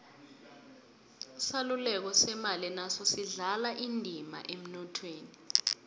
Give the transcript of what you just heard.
isaluleko semali naso sidlala indima emnothweni